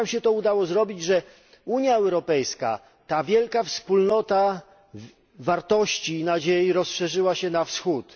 Jak wam się udało zrobić, że Unia Europejska, ta wielka wspólnota wartości i nadziei, rozszerzyła się na Wschód?